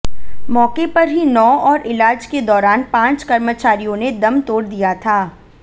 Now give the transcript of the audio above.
मौके पर ही नौ और इलाज के दौरान पांच कर्मचारियों ने दम तोड़ दिया था